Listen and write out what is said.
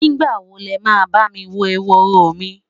nígbà wo lema bá mí won ehoro mi?